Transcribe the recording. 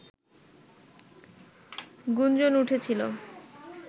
গুঞ্জন উঠেছিল